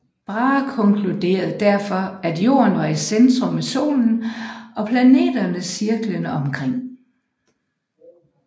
Brahe konkludere derfor at Jorden var i centrum med solen og planeterne cirklende omkring